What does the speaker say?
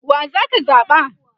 wa zaka zaɓa?